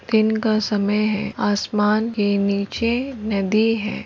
दिन का समय है। आसमान के नीचे नदी है।